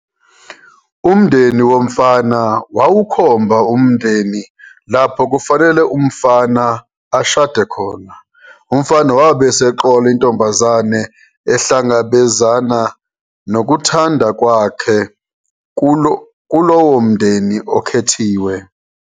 Umndeni womfana wawukhomba umndeni lapho kwakufanele umfana ashade khona. Umfana wabe eseqola intombazane ehlangabezana nokuthanda kwakhe kulowo mndeni okhethiwe.